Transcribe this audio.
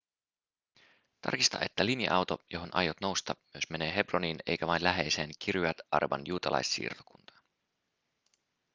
tarkista että linja-auto johon aiot nousta myös menee hebroniin eikä vain läheiseen kiryat arban juutalaissiirtokuntaan